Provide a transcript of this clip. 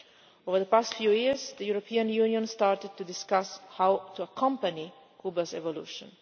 Over the past few years, the European Union has started to discuss how to accompany Cuba's evolution.